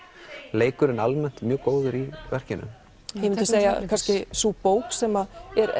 leikurinn almennt mjög góður í verkinu ég myndi segja kannski sú bók sem